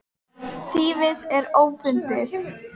Þýfið er ófundið.